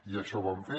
i això vam fer